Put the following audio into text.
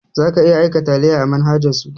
Za ka iya aika taliya a manhajan su